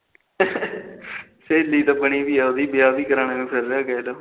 ਸਹੇਲੀ ਤਾ ਬਣੀ ਬੀ ਉਹਦੀ ਵਿਆਹ ਵੀ ਕਰਾਣਾ